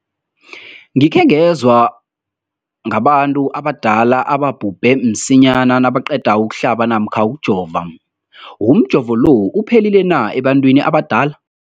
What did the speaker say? Umbuzo, gikhe ngezwa ngabantu abadala ababhubhe msinyana nabaqeda ukuhlaba namkha ukujova. Umjovo lo uphephile na ebantwini abadala?